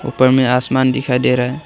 ऊपर में आसमान दिखाई दे रहा है।